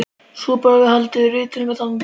Nú bar svo við að haldið var rithöfundaþing.